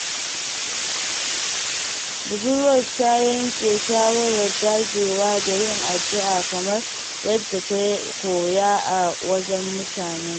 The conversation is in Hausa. Budurwar ta yanke shawarar dagewa da yin addu’a kamar yadda ta koya a wajen mutanenta.